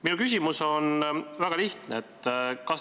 Minu küsimus on väga lihtne.